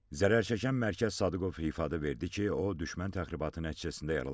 Zərərçəkən Mərkəz Sadıqov ifadə verdi ki, o, düşmən təxribatı nəticəsində yaralanıb.